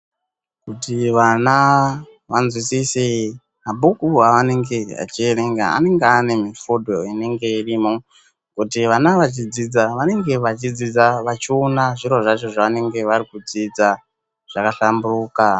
Kuti vana vanzwisise mabhuku anenge achierenga anenge ane mufodho inenge irimo, kuti vana vachidzidza vanenge vachidzidza vachiona zviro zvacho zvavanenge varikudzidza zvakahlamburuka.